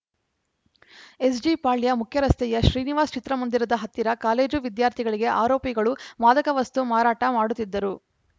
ಎಸ್‌ಜಿಪಾಳ್ಯ ಮುಖ್ಯರಸ್ತೆಯ ಶ್ರೀನಿವಾಸ್‌ ಚಿತ್ರಮಂದಿರದ ಹತ್ತಿರ ಕಾಲೇಜು ವಿದ್ಯಾರ್ಥಿಗಳಿಗೆ ಆರೋಪಿಗಳು ಮಾದಕ ವಸ್ತು ಮಾರಾಟ ಮಾಡುತ್ತಿದ್ದರು